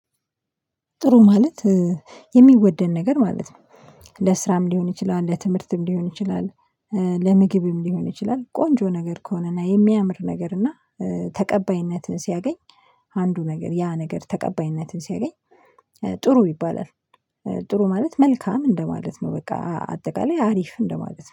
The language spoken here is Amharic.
ጥሩ ማለት የሚወደን ነገር ማለት ነው ለስራም ሊሆን ይችላል ለትምህርትም ሊሆን ይችላል። ለምግብም ሊሆን ይችላል ቆንጆ ነገር ከሆነ እና የሚያምር ነገር እና ተቀባይነትን ሲያገኝ አንዱ ነገር ያ ነገር ተቀባይነትን ሲያገኝ ጥሩ ይባላል። ጥሩ ማለት መልካም እንደማለት ነው። በቃ አጠቃላይ አሪፍ እንደማለት ነው